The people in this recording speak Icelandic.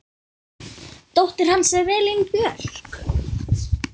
Dóttir hans er Elín Björk.